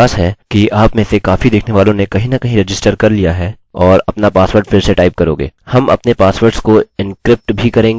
मुहे विश्वास है कि आपमें से काफी देखने वालों ने कहीं न कहीं रजिस्टर कर लिया है और अपना पासवर्ड फिर से टाइप करोगे